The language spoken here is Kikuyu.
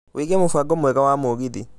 wiĩge mũbango mwega wa mũgithi